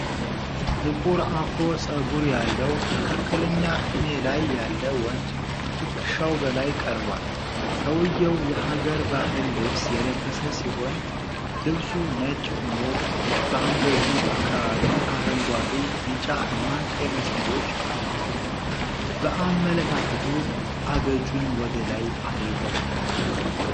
ጥቁር አፍሮ ጸጉር ያለው መካከለኛ ዕድሜ ላይ ያለ ወንድ ከትከሻው በላይ ቀርቧል። ሰውየው የሀገር ባህል ልብስ የለበሰ ሲሆን ልብሱ ነጭ ሆኖ በአንገቱ አካባቢ አረንጓዴ፣ ቢጫ እና ቀይ መስመሮች አሉ። በአመለካከቱ፣ አገጩን ወደ ላይ አድርጎዋል